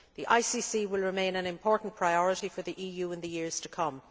The ICC will remain an important priority for the EU in the years to come.